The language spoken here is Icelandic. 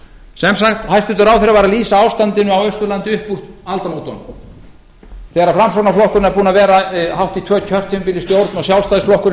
sem sagt hæstvirtur ráðherra var að lýsa ástandinu á austurlandi upp úr aldamótunum þegar framsóknarflokkurinn er búinn að vera hátt í tvö kjörtímabil í stjórn og sjálfstæðisflokkurinn